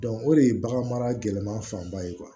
o de ye bagan mara gɛlɛman fan ba ye